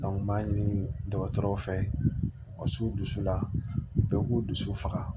n b'a ɲini dɔgɔtɔrɔw fɛ wa su dusu la bɛɛ b'u dusu faga